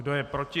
Kdo je proti?